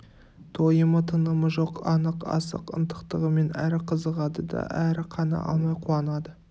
тойымы тынымы жоқ анық асық ынтықтығымен әрі қызығады да әрі қана алмай қуанады